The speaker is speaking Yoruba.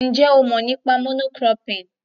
Ǹjẹ́ ó mọ̀ nípa mono cropping?